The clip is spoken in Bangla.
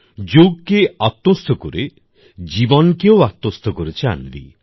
যোগ কে আত্মস্থ করে জীবনকেও আত্মস্থ করেছে অন্বি